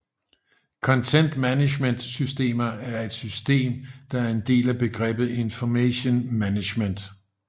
Content management systemer er et system der er en del af begrebet Information management